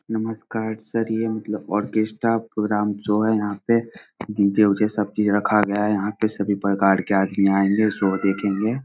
नमस्कार सर ये मतलब ओकेस्टरा प्रोग्राम शो है यहाँ पे डी.जे. उजे सब चीज रखा गया है यहाँ पे सभी प्रकार के आदमी आए हुए है शो के लिए |